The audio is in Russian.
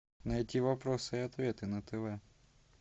найти вопросы и ответы на тв